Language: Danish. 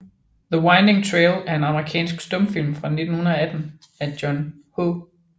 The Winding Trail er en amerikansk stumfilm fra 1918 af John H